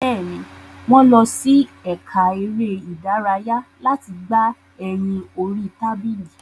Bẹ́ẹ̀ni, wọ́n lọ sí ẹka eré ìdárayá láti gbà ẹyin orí tábìlì.